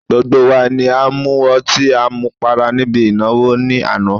Gbogbo wa ni a mu ọtí à mu para níbi ìnáwó ní àná